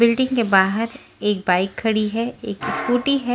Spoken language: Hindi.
बिल्डिंग के बाहर एक बाइक खड़ी है एक स्कूटी है।